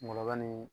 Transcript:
Ŋɔŋɔba ni